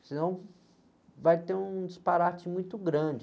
senão vai ter um disparate muito grande.